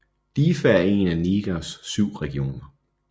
Diffa er en af Nigers syv regioner